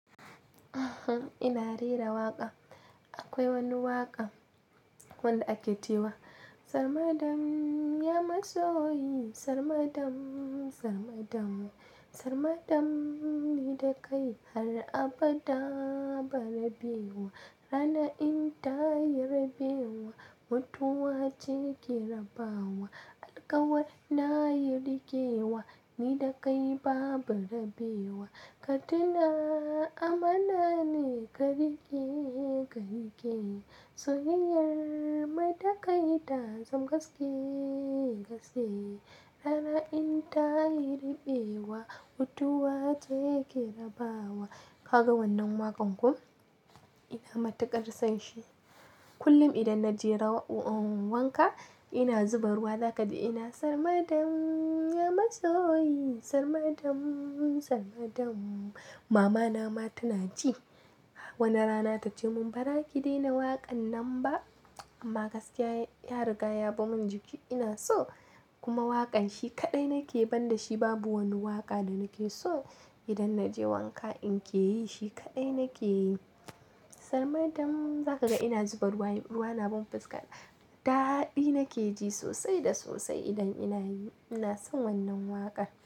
Ina rera waƙa. Akwai wani waƙa wanda ake cewa "Sarmadam ya matsoyi sarmadam sarmadam. Sarmadam ni da kai har abada ba rabewa. Rana in ta yi rabewa mutuwa ce ke rabawa. Alkawari na yi riƙewa ni da kai babu rabewa. Katina amana ne ka rike karike Soyayyar mai da kai ta zam gaske gaske. Rana in ta yi rabewa mutuwa ce ke rabawa." Ka ga wannan waƙan ko? Ina matukar son shi. Kullum idan na je wanka ina zuba ruwa, za ka ji ina "Sarmadam ya matsoyi sarmadam sarmadam." Mamana ma tana ji. Wani rana ta ce mun "Bara ki daina waƙan nan ba" amma gaskiya ya riga ya bamu jiki. Ina so kuma waƙan shi kaɗai nake ban da shi, babu wani waƙa da nake so. Idan na je wanka in ke yi shi kaɗai nake yi. "Sarmadam" za ka ga ina zuba ruwa, ruwa na ban fuska. Dadi nake ji sosai da sosai idan ina yi. Ina son wannan waƙa.